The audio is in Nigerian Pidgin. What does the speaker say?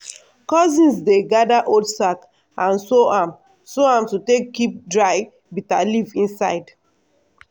cousins dey gather old sack and sew am sew am to take keep dry bitterleaf inside.